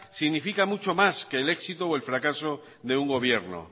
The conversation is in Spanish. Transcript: significa mucho más que el éxito o el fracaso de un gobierno